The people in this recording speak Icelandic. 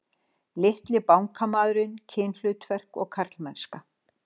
Litli bankamaðurinn, kynhlutverk og karlmennska